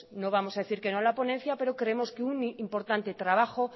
no vamos a decir que no a la ponencia pero creemos que un importante trabajo